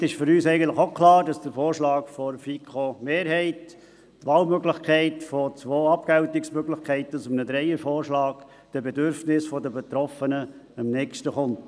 Damit ist für uns eigentlich auch klar, dass der Vorschlag der FiKo-Mehrheit, die Wahlmöglichkeit von zwei Abgeltungsmöglichkeiten aus einem Dreiervorschlag, den Bedürfnissen der Betroffenen am Nächsten kommt.